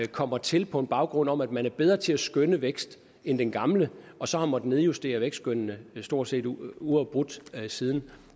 kommer til på en baggrund om at man er bedre til at skønne vækst end den gamle og så har måttet nedjustere vækstskønnene stort set uafbrudt siden og